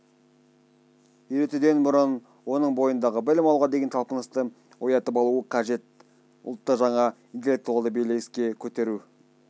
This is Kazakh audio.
үйретуден бұрын оның бойындағы білім алуға деген талпынысты оятып алуы қажет ұлтты жаңа интеллектуалды белеске көтеру